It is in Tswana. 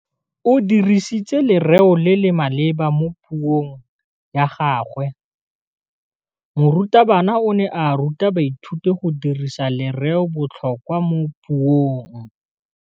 O dirisitse lerêo le le maleba mo puông ya gagwe. Morutabana o ne a ruta baithuti go dirisa lêrêôbotlhôkwa mo puong.